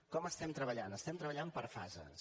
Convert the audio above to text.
com estem treballant estem treballant per fases